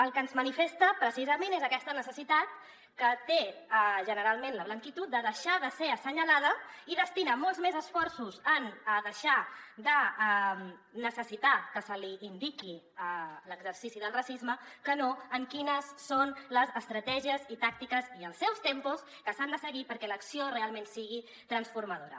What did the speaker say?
el que ens manifesta precisament és aquesta necessitat que té generalment la blanquitud de deixar de ser assenyalada i destina molts més esforços a deixar de necessitar que se li indiqui l’exercici del racisme que no a quines són les estratègies i tàctiques i els seus tempos que s’han de seguir perquè l’acció realment sigui transformadora